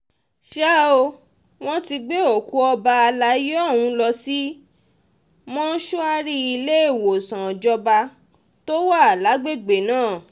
ṣá ò wọ́n ti gbé òkú ọba àlàyé ọ̀hún lọ sí mọ́ṣúárì iléèwọ̀sán ìjọba tó wà lágbègbè náà